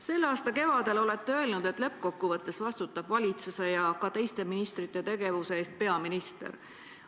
Selle aasta kevadel olete öelnud, et lõppkokkuvõttes vastutab valitsuse ja ka teiste ministrite tegevuse eest peaminister.